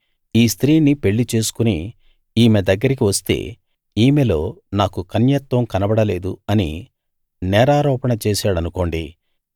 ఈ స్త్రీని పెళ్ళి చేసుకుని ఈమె దగ్గరికి వస్తే ఈమెలో నాకు కన్యత్వం కనబడలేదు అని నేరారోపణ చేసాడనుకోండి